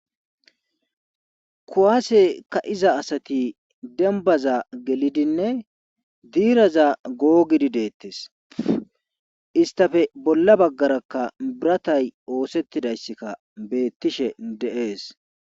kuwaase ka'iza asati dembaza gelidinne diiraza googidi deettes istafe bolla baggarakka biratay oosettidayssikka beettishe de'ees